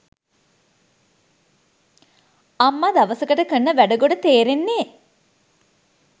අම්ම දවසකට කරන වැඩ ගොඩ තේරෙන්නේ